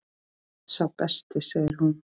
Sá besti segir hún.